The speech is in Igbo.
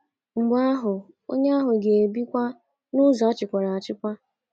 Mgbe ahụ, onye ahụ ga - ebi nkọ n’ụzọ a chịkwara achịkwa.